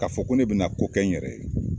Ka fɔ ko ne bina ko kɛ n yɛrɛ ye